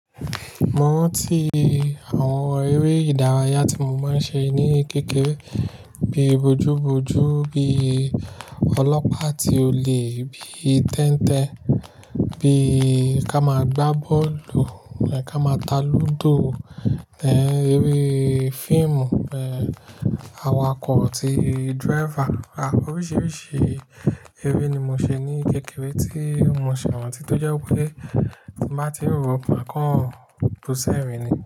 Mo ranti àwọn eré ìdárayá tí mo máa ń ṣe ní kékèré bíi bojúbojú, bíi ọlọ́pàá atí olè, bíi tẹ́ntẹn, bíi ká máa gbá bọ́ọ̀lù, ká máa ta lúdò, ẹ́ eré fíìmù, ẹ́ awakọ̀ tí driver. A oríṣiríṣi eré ni mo ṣe ní kékèré tí mo ṣi rantí tí ó jẹ́ wipé tí bá tí ń rọ́ mà kọ́ bu ṣẹ́rin ni.